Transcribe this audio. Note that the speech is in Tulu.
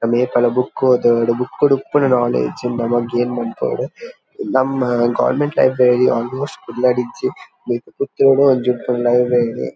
ನಮ ಏಪಲ ಬುಕ್ ಓದೊಡು ಬುಕ್ ಡ್ ಉಪ್ಪುನ ನಾಲೆಡ್ಜ್ ನಮ ಗೈನ್ ಮನ್ಪಾವೊಡು ನಮ್ಮ ಗವರ್ನಮೆಂಟ್ ಲೈಬ್ರೆರಿ ಆಲ್ ಮೋಸ್ಟ್ ಕುಡ್ಲಡ್ ಇಜ್ಜಿ ಪುತ್ತೂರುಡ್ ಒಂಜಿ ಉಪ್ಪುನು ಅವೇನೇ.